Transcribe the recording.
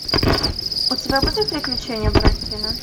у тебя будет приключения буратино